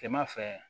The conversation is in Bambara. Kilema fɛ